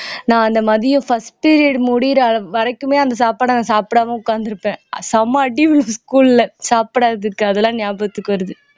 நான் அந்த மதியம் first period முடியிற வரைக்குமே அந்த சாப்பாட நான் சாப்பிடாம உட்கார்ந்து இருப்பேன் செம அடி விழும் school ல சாப்பிடாததுக்கு அதெல்லாம் ஞாபகத்துக்கு வருது